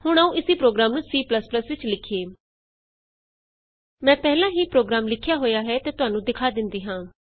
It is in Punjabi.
ਹੁਣ ਆਉ ਇਸੀ ਪ੍ਰੋਗਰਾਮ ਨੂੰ C ਵਿਚ ਲਿਖੀਏ ਮੈਂ ਪਹਿਲਾਂ ਹੀ ਪ੍ਰੋਗਰਾਮ ਲਿਖਿਆ ਹੋਇਆ ਹੈ ਅਤੇ ਤੁਹਾਨੂੰ ਦਿਖਾ ਦਿੰਦੀ ਹਾਂ